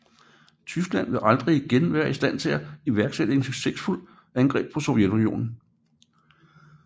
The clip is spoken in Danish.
Tyskland ville aldrig igen være i stand til at iværksætte et succesfuldt angreb på Sovjetunionen